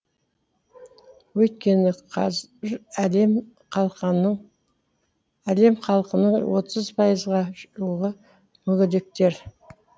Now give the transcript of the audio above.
өйткені қаз әлем халқының отыз пайызға жуығы мүгедектер